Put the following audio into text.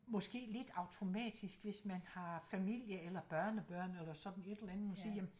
Måske lidt automatisk hvis man har familie eller børnebørn eller sådan et eller andet og sige jamen